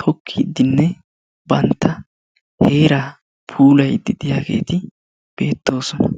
tokkiidinne bantta heeraa puulayidi de'iyaageti beettoosona.